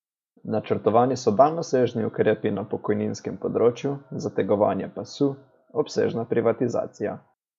Načrtovani so daljnosežni ukrepi na pokojninskem področju, zategovanje pasu, obsežna privatizacija ...